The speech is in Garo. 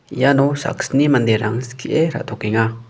iano saksni manderang skie ra·tokenga.